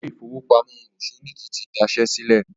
Ilé ìfowópamọ́ Òṣọ́níkí ti daṣẹ́ sílẹ̀